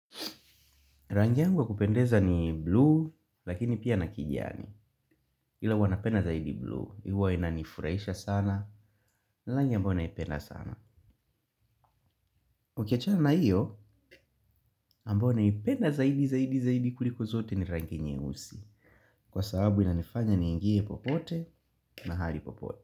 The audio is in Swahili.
Rangi yangu wa kupendeza ni blue, lakini pia na kijani. Ila huwa napenda zaidi blue, huwa inanifurahisha sana, ni langi ambayo naipenda sana. Ukiachana na hiyo, ambayo naipenda zaidi zaidi zaidi kuliko zote ni rangi nyeusi. Kwa sababu inanifanya niingie popote, mahali popote.